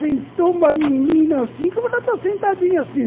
Sentou uma menina assim, como ela está sentadinha assim.